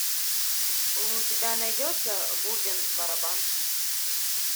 у тебя найдется бубен барабан